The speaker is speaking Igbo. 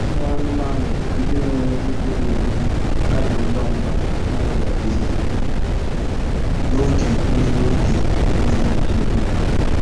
Ụmụ anụmanụ ndị na-enweghị ebe obibi na-ada ngwa ngwa n'ọrịa oyi na oge mmiri oge mmiri ozuzo.